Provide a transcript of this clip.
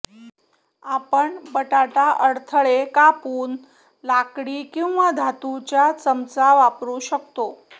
आपण बटाटा अडथळे कापून लाकडी किंवा धातुच्या चमचा वापरू शकतो